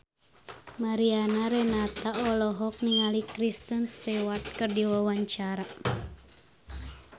Mariana Renata olohok ningali Kristen Stewart keur diwawancara